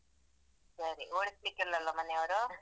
ಸರಿ ಓಡಿಸ್ಲಿಕ್ಕಿಲ್ಲಲಾ ಮನೆಯವ್ರು.